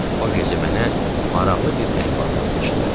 O gecə mənə maraqlı bir əhvalat danışdı.